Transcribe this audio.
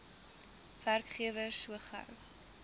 werkgewer so gou